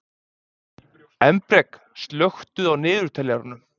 Embrek, slökktu á niðurteljaranum.